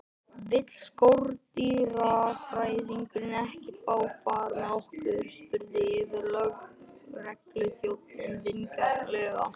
Vill skordýrafræðingurinn ekki fá far með okkur? spurði yfirlögregluþjónninn vingjarnlega.